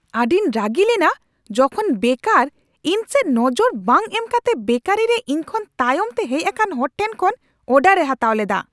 ᱟᱹᱰᱤᱧ ᱨᱟᱹᱜᱤ ᱞᱮᱱᱟ ᱡᱚᱠᱷᱚᱱ ᱵᱮᱠᱟᱨ ᱤᱧᱥᱮᱫ ᱱᱚᱡᱚᱨ ᱵᱟᱝ ᱮᱢ ᱠᱟᱛᱮ ᱵᱮᱠᱟᱨᱤ ᱨᱮ ᱤᱧᱠᱷᱚᱱ ᱛᱟᱭᱚᱢᱛᱮ ᱦᱮᱡ ᱟᱠᱟᱱ ᱦᱚᱲ ᱴᱷᱮᱱ ᱠᱷᱚᱱ ᱚᱨᱰᱟᱨ ᱮ ᱦᱟᱛᱟᱣ ᱞᱮᱫᱟ ᱾